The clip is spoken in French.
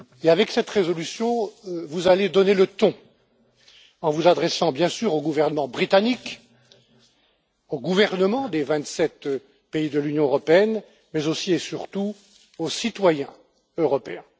Avec cette résolution, vous allez donner le ton en vous adressant bien sûr au gouvernement britannique, aux gouvernements des vingt sept pays de l'Union européenne, mais aussi et surtout aux citoyens européens.